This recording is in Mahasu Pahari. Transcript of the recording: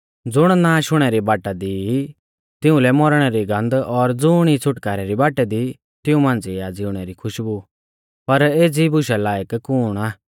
ज़ुण नाश हुणै री बाटा दी ई तिउंलै मौरणै री गन्ध और ज़ुण ई छ़ुटकारै री बाटा दी तिऊं मांझ़िऐ आ ज़िउणै री खुशबु पर एज़ी बुशा लायक कुण आ